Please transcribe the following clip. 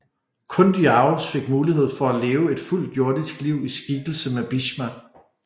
Kun Dyaus fik mulighed for at leve et fuldt jordisk liv i skikkelse af Bhishma